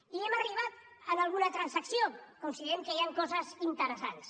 i hem arribat a alguna transacció considerem que hi han coses interessants